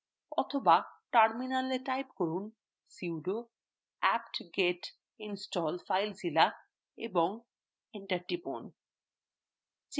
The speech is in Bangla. অথবা terminalএ type করুন sudo aptget install filezilla এবং enter টিপুন